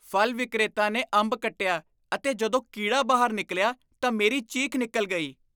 ਫਲ ਵਿਕਰੇਤਾ ਨੇ ਅੰਬ ਕੱਟਿਆ ਅਤੇ ਜਦੋਂ ਕੀੜਾ ਬਾਹਰ ਨਿਕਲਿਆ ਤਾਂ ਮੇਰੀ ਚੀਖ ਨਿਕਲ ਗਈ।